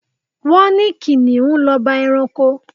Wọ́n ní Kìnnìún l'ọba ẹranko.